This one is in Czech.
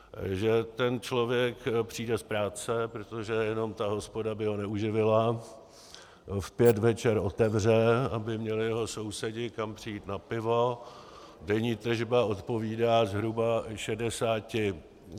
Že ten člověk přijde z práce, protože jenom ta hospoda by ho neuživila, v pět večer otevře, aby měli jeho sousedi kam přijít na pivo, denní tržba odpovídá zhruba šedesáti...